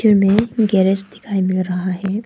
Image garage दिखाई पड़ रहा है।